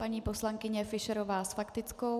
Paní poslankyně Fischerová s faktickou.